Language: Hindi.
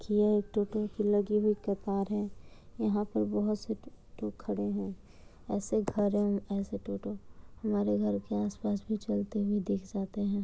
यह एक टोटो की लगी हुई कतार है। यहा पर बहुत से टोटो खड़े हैं। ऐसे घर ऐसे टोटो हमारे घर के आस-पास भी चलते हुए देखे जाते हैं।